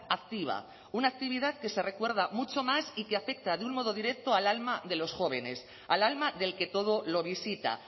activa una actividad que se recuerda mucho más y que afecta de un modo directo al alma de los jóvenes al alma del que todo lo visita